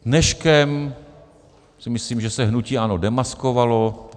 Dneškem si myslím, že se hnutí ANO demaskovalo.